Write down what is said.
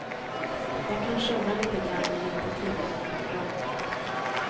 Jag kan sjunga lite grann, men inte tillräckligt bra.